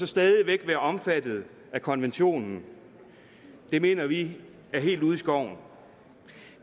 stadig væk være omfattet af konventionen det mener vi er helt ude i skoven